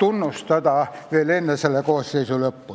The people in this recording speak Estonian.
tunnustada veel enne selle koosseisu lõppu.